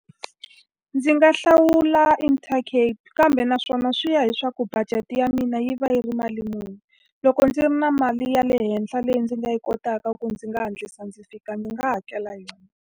Ndzi nga hlawula Intercape. Kambe naswona swi ya hileswaku budget ya mina yi va yi ri mali muni. Loko ndzi ri na mali ya le henhla leyi ndzi nga yi kotaka ku ndzi nga hatlisa ndzi fika, ndzi nga hakela yona.